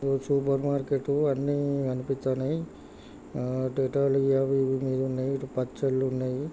ఒ super market అన్నీ కనిపిత్తన్నాయ్ ఆ డేటాలు అవి ఇవి మీదున్నాయి ఇటు పచ్చడ్లున్నయ్.